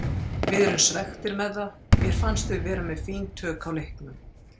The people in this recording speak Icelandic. Við erum svekktir með það, mér fannst við vera með fín tök á leiknum.